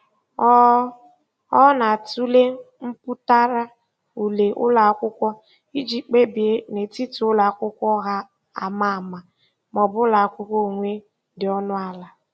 Ọ Ọ na-atụle mpụtara ule ụlọakwụkwọ iji kpebie n'etiti ụlọakwụkwọ ọha ama ama maọbụ ụlọakwụkwọ onwe dị ọnụ ala.